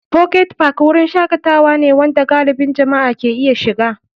Pocket Park wurin shakatawa ne wanda galibin jama'a ke iya shiga.